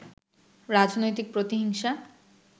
রাজনৈতিক প্রতিহিংসা